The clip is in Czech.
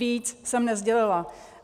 Víc jsem nesdělila.